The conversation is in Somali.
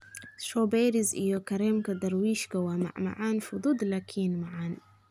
Strawberries iyo kareemka Darwishka waa macmacaan fudud laakiin macaan.